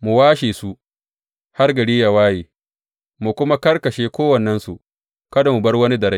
mu washe su har gari yă waye, mu kuma karkashe kowannensu, kada mu bar wani da rai.